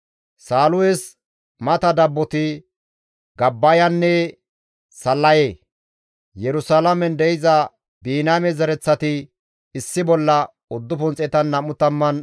Saalus mata dabboti, Gabbayanne Sallaye, Yerusalaamen de7iza Biniyaame zereththati issi bolla 928.